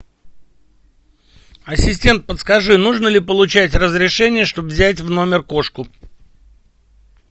ассистент подскажи нужно ли получать разрешение чтобы взять в номер кошку